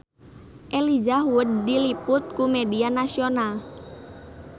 Elijah Wood diliput ku media nasional